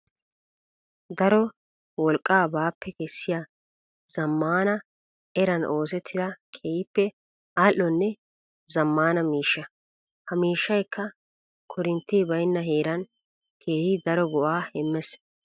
Daro wolqqa baappe kessiya zamaana eran oosettiya keehippe ali'onne zamaana miishsha. Ha miishshaykka koorintte baynna heeran keehi daro go'a imees.